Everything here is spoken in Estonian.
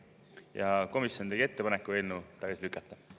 Ja komisjon tegi ettepaneku eelnõu tagasi lükata.